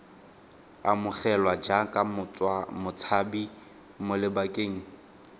amogelwa jaaka motshabi mo lebakeng